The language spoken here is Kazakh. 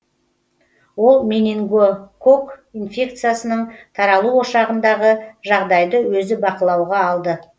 ол менингококк инфекциясының таралу ошағындағы жағдайды өзі бақылауға алды